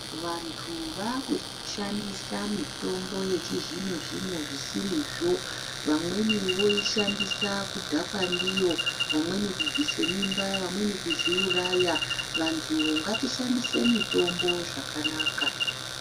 Vantu vakushandisa mitombo yechizvino zvino zvisirizvo vamweni voishandisa kudhakwa ndiyo, vamweni kubvise mimba vamweni kuzviuraya vantu ngatishandise mitombo zvakanaka.